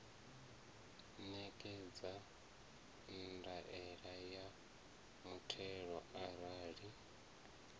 ṋekedza ndaela ya muthelo arali